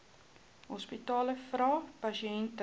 hospitale vra pasiënte